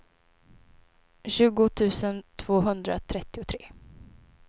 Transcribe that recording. tjugo tusen tvåhundratrettiotre